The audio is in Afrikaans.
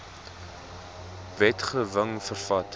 wetge wing vervat